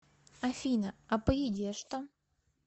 афина а по еде что